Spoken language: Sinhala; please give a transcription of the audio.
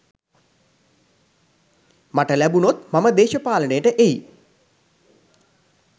මට ලැබුණොත් මම දේශපාලනයට එයි.